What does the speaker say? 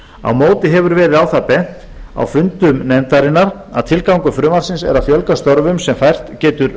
á móti hefur verið á það bent á fundum nefndarinnar að tilgangur frumvarpsins er að fjölga störfum sem fært getur